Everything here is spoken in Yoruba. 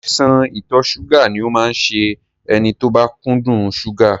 Àìsàn ìtọ̀ ṣúgà ni ó máa ń ṣe ẹni tó bá kúndùn ṣúgà